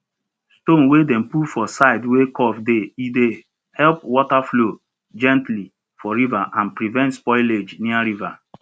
stone wey dem put for side wey curve dey e dey help water flow gently for river and prevent spoilage near river